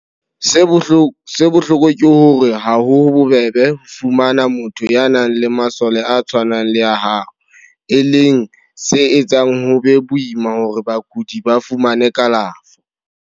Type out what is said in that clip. Se bohloko ke hore ha ho bobebe ho fumana motho ya nang le masole a tshwanang le a hao, e leng se etsang ho be boima hore bakudi ba fumane kalafo.